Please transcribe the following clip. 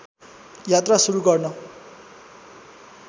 यात्रा सुरु गर्न